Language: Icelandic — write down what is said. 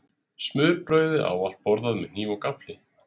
Smurbrauðið er ávallt borðað með hníf og gaffli.